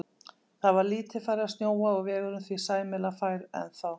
Það var lítið farið að snjóa og vegurinn því sæmilega fær ennþá.